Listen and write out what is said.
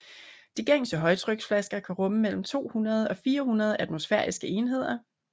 De gængse højtryksflasker kan rumme mellem 200 og 400 atmosfæriske enheder